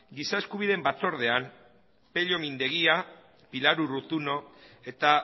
giza eskubideen batzordean pello mindegia pilar urruzuno eta